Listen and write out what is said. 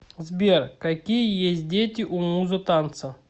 сбер какие есть дети у муза танца